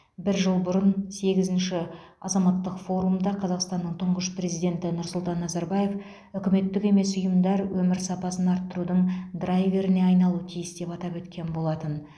бір жыл бұрын сегізінші азаматтық форумда қазақстанның тұңғыш президенті нұрсұлтан назарбаев үкіметтік емес ұйымдар өмір сапасын арттырудың драйверіне айналуы тиіс деп атап өткен болатын